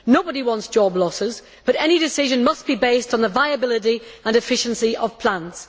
Nobody wants job losses, but any decision must be based on the viability and efficiency of plants.